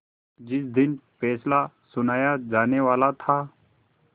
जिस दिन फैसला सुनाया जानेवाला था